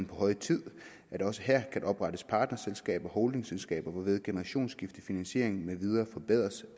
på høje tid at der også her kan oprettes partnerselskaber og holdingselskaber hvorved generationsskifte finansiering med videre forbedres